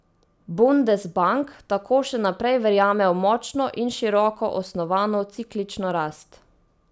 Bundesbank tako še naprej verjame v močno in široko osnovano ciklično rast.